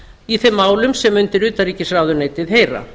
í þeim málum sem undir utanríkisráðuneytið heyra